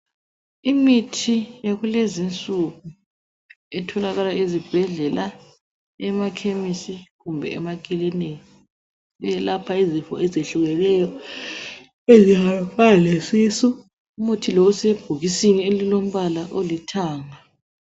Imithi yakulezinsuku etholakala ezibhedlela , emakhemisi kumbe emakilinika .Eyelapha izifo eziyehlukeneyo ezifana lesisu. Umuthi lo usebhokisini olombala olithanga.